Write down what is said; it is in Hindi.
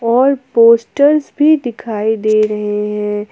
और पोस्टर्स भी दिखाई दे रहे हैं।